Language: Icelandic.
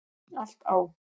Allt á